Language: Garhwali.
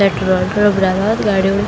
पेट्रोल पुरु भरवा गाड़ियों।